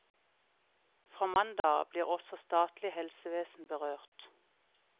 Fra mandag av blir også statlig helsevesen berørt.